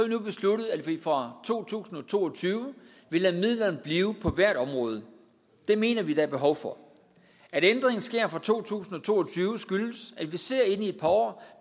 nu besluttet at vi fra to tusind og to og tyve vil lade midlerne blive på hvert område det mener vi der er behov for at ændringen sker fra to tusind og to og tyve skyldes at vi ser ind i et par år